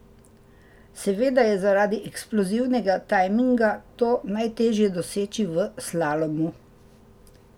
Seveda je zaradi eksplozivnega tajminga to najteže doseči v slalomu.